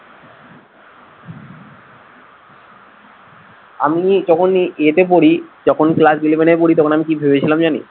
আমি যখনি ইয়েতে পড়ি যখন class eleven এ পড়ি তখন আমি কি ভেবেছিলাম জানিস